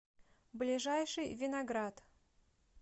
ближайший виноград